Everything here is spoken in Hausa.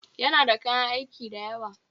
Yana da kayan aiki dayawa